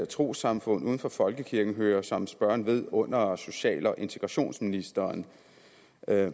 trossamfund uden for folkekirken hører som spørgeren ved under under social og integrationsministeren